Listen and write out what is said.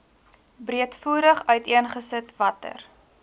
breedvoerig uiteengesit watter